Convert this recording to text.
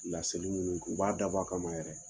Laseli minnu u b'a da bɔ a kama yɛrɛ.